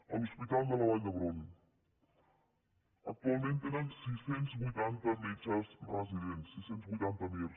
a l’hospital de la vall d’hebron actualment tenen sis cents i vuitanta metges residents sis cents i vuitanta mir